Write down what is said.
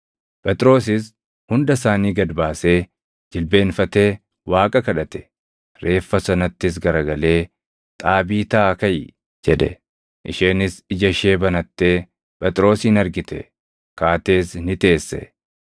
Phexrosis hunda isaanii gad baasee jilbeenfatee Waaqa kadhate; reeffa sanattis garagalee, “Xaabiitaa kaʼi!” jedhe. Isheenis ija ishee banattee Phexrosin argite; kaatees ni teesse.